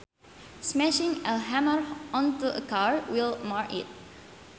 Smashing a hammer onto a car will mar it